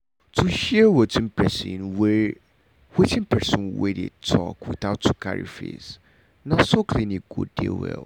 to hear wetin person wey wetin person wey dey talk without to carry face na so clinic go dey well.